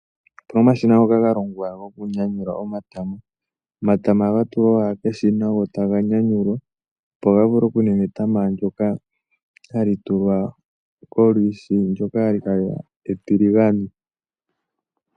Okuna omashina ngoka ga longwa gwoku nyanyula omatama. Omatama oha ga tulwa keshina go taga nyanyulwa, opo ga vule okuninga etama ndyoka hali tulwa kolwishi, ndyoka ha li kala etiligane.